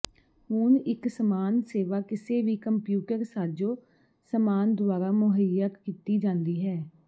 ਹੁਣ ਇਕ ਸਮਾਨ ਸੇਵਾ ਕਿਸੇ ਵੀ ਕੰਪਿਊਟਰ ਸਾਜ਼ੋ ਸਮਾਨ ਦੁਆਰਾ ਮੁਹੱਈਆ ਕੀਤੀ ਜਾਂਦੀ ਹੈ